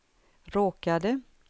råkade